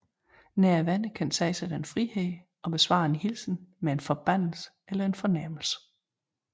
Nære venner kan tage sig den frihed at besvare en hilsen med en forbandelse eller en fornærmelse